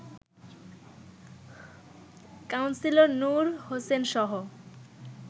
councillor Noor হোসেনসহ